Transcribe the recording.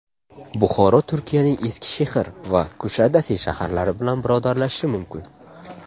Buxoro Turkiyaning Eskishehir va Kushadasi shaharlari bilan birodarlashishi mumkin.